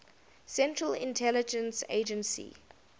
central intelligence agency